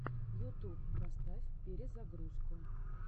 ютуб поставь перезагрузку